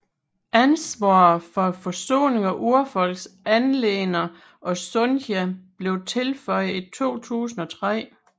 Ansvaret for Forsoning og Urfolks anliggender og sundhed blev tilføjet i 2003